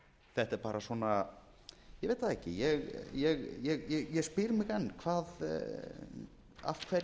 þetta er bara svona ég veit það ekki ég spyr mig enn af hverju er verið að